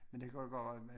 Men det kan jo godt